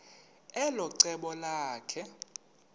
elo cebo lakhe